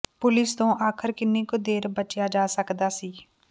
police ਤੋਂ ਆਖਰ ਕਿੰਨੀ ਕੁ ਦੇਰ ਬਚਿਆ ਜਾ ਸਕਦਾ ਸੀ